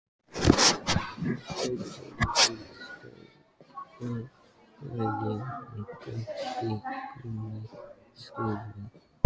Þeir voru í stærra lagi en betri en gúmmí- stígvélin.